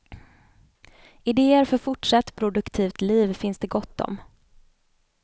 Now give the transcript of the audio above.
Idéer för fortsatt produktivt liv finns det gott om.